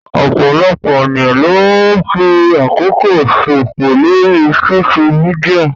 Ọ̀pọ̀lọpọ̀ ènìyàn ló ń fi àkókò ṣò fò lórii sóṣú midià